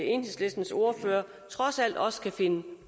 enhedslistens ordfører trods alt også kan finde